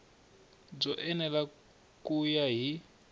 byo enela ku ya hi